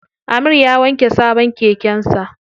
Amir ya wanke sabon keken sa.